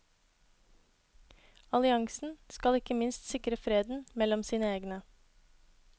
Alliansen skal ikke minst sikre freden mellom sine egne.